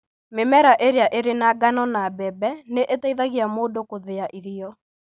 Mĩmera ĩrĩa ĩrĩ na ngano na mbembe nĩ ĩteithagia mũndũ kũthĩa irio.